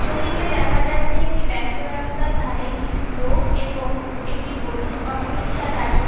ছবিতে দেখা যাচ্ছে একটি ব্যস্ত রাস্তার ধারে কিছু লোক এবং একটি হলুদ অটোরিকশা দাঁড়িয়ে।